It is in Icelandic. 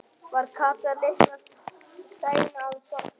Var Kata litla sein að sofna?